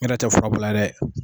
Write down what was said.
N yɛrɛ tɛ fura bɔ a la dɛ